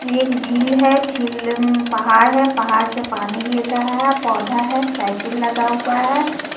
यह एक झील है झील पहाड़ है पहाड़ से पानी गिर रहा है पौधा है साइकिल लगा हुआ है।